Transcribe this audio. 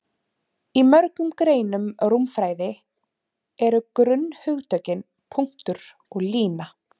Í mörgum greinum rúmfræði eru grunnhugtökin punktur og lína.